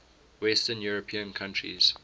western european countries